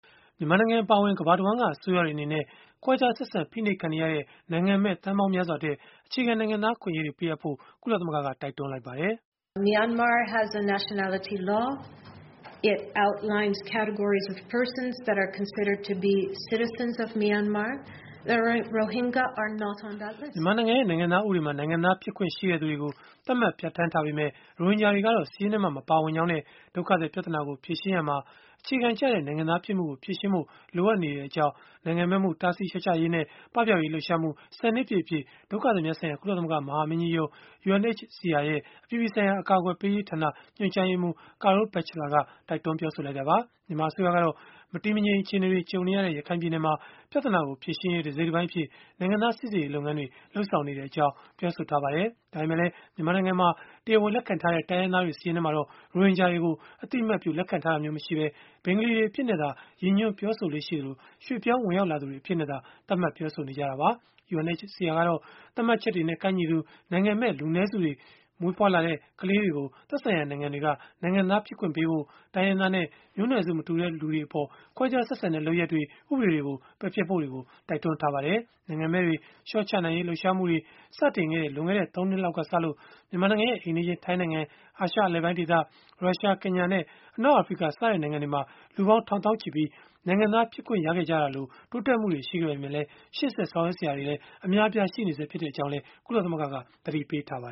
မြန်မာနိုင်ငံ အပါအဝင် ကမ္ဘာတဝန်းက အစိုးရတွေ အနေနဲ့ ခွဲခြားဆက်ဆံ ဖိနှိပ်ခံနေရတဲ့ နိုင်ငံမဲ့ သန်းပေါင်းများစွာအတွက် အခြေခံ နိုင်ငံသား အခွင့်အရေးတွေ ပေးအပ်ဖို့ ကုလသမဂ္ဂက တိုက်တွန်းလိုက်ပါတယ်။ မြန်မာနိုင်ငံရဲ့ နိုင်ငံသားဥပဒေမှာ နိုင်ငံသားဖြစ်ခွင့်ရှိသူတွေကို သတ်မှတ်ပြဌာန်းထားပေမဲ့ ရိုဟင်ဂျာတွေကတော့ စာရင်းထဲမှာ မပါဝင်ကြောင်းနဲ့ ဒုက္ခသည် ပြဿနာကို ဖြေရှင်းရာမှာ အခြေခံကျတဲ့ နိုင်ငံသားဖြစ်မှုကို ဖြေရှင်းဖို့လိုအပ်နေကြောင်း နိုင်ငံမဲ့မှု တားဆီးလျှော့ချရေးနဲ့ ပပျောက်ရေး လှုပ်ရှားမှု ၁၀ နှစ်ပြည့်အဖြစ် ဒုက္ခသည်များဆိုင်ရာ ကုလသမဂ္ဂ မဟာမင်းကြီးရုံး ရဲ့ အပြည်ပြည်ဆိုင်ရာ အကာအကွယ်ပေးရေးဌာန ညွှန်ကြားရေးမှူး Carol Batchelor က တိုက်တွန်းလိုက်တာပါ။ မြန်မာအစိုးရကတော့ မတည်မငြိမ် အခြေအနေတွေ ကြုံနေရတဲ့ ရခိုင်ပြည်နယ်မှာ ပြဿနာကို ဖြေရှင်းရေး တစိတ်တပိုင်းအဖြစ် နိုင်ငံသားစိစစ်ရေး လုပ်ငန်းတွေ လုပ်ဆောင်နေကြောင်း ပြောဆိုထားပါတယ်။ ဒါပေမဲ့လည်း မြန်မာနိုင်ငံမှာ တရားဝင်လက်ခံထားတဲ့ တိုင်းရင်းသားတွေ စာရင်းထဲမှာတော့ ရိုဟင်ဂျာတွေကို အသိအမှတ်ပြု လက်ခံထားတာမျိုး မရှိဘဲ ဘင်္ဂါလီတွေအဖြစ်နဲ့သာ ရည်ညွှန်းပြောဆိုလေ့ရှိသလို၊ ရွှေ့ပြောင်းဝင်ရောက် လာသူတွေ အဖြစ်နဲ့သာ သတ်မှတ်ပြောဆိုနေကြတာပါ။ UNHCR ကတော့ သတ်မှတ်ချက်တွေနဲ့ ကိုက်ညီသူ နိုင်ငံမဲ့ လူနည်းစုတွေ၊ မွေးဖွားလာတဲ့ ကလေးတွေကို သက်ဆိုင်ရာ နိုင်ငံတွေက နိုင်ငံသားဖြစ်ခွင့်ပေးဖို့၊ တိုင်းရင်းသားနဲ့ မျိုးနွယ်စု မတူတဲ့အပေါ် ခွဲခြားဆက်ဆံတဲ့ လုပ်ရပ်တွေ၊ ဥပဒေတွေကို ပယ်ဖျက်ရေး တိုက်တွန်းထားပါတယ်။ နိုင်ငံမဲ့တွေ လျှော့ချနိုင်ရေး လှုပ်ရှားမှုတွေ စတင်ခဲ့တဲ့ လွန်ခဲ့တဲ့ ၃ နှစ်လောက်ကစလို့ မြန်မာနိုင်ငံရဲ့ အိမ်နီးချင်း ထိုင်းနိုင်ငံ၊ အာရှအလယ်ပိုင်းဒေသ၊ ရုရှား၊ ကင်ညာနဲ့ အနောက်အာဖရိက စတဲ့နိုင်ငံတွေမှာ လူပေါင်းထောင်သောင်းချီပြီး နိုင်ငံသားဖြစ်ခွင့်ရခဲ့ကြတာလို့ တိုးတက်မှုတွေ ရှိခဲ့ပေမဲ့လည်း ရှေ့ဆက်ဆောင်ရွက် စရာတွေလည်း အများအပြား ရှိနေဆဲဖြစ်ကြောင်း ကုလသမဂ္ဂက သတိပေးထားပါ